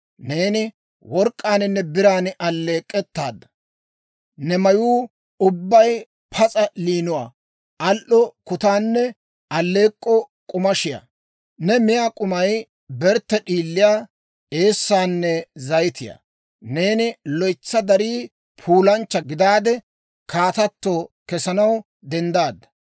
Neeni work'k'aaninne biran alleek'k'ettaadda; ne mayuu ubbay pas'a layinuwaa, al"o kutaanne alleek'k'o k'amishiyaa. Ne miyaa k'umay bertte d'iiliyaa, eessaanne zayitiyaa. Neeni loytsa darii puulanchcha gidaade, kaatato kesanaw denddaadda.